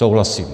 Souhlasím.